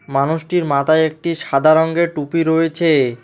মানুষটির মাতায় একটি সাদা রঙ্গের টুপি রয়েছে।